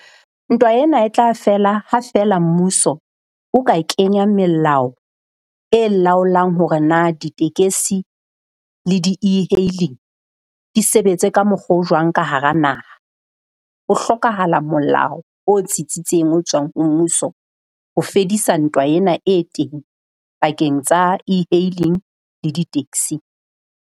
Ntwa ena e tla fela ha feela mmuso o ka kenya melao e laolang hore na ditekesi le di e-hailing di sebetse ka mokgwa o jwang ka hara naha. Ho hlokahala molao o tsitsitseng, o tswang ho mmuso ho fedisa ntwa ena e teng pakeng tsa e-hailing le di-taxi.